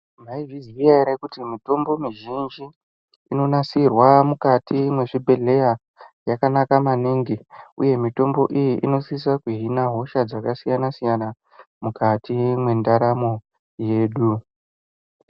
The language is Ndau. Maizviziva here kuti mitombo mizhinji inonasirwa mukati mezvibhedhlera yakanaka maningi uye mitombo iyi inosisa kuhina hosha dzakasiyana-siyana mukati mendaramo yedu.